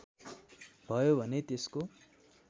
भयो भने त्यसको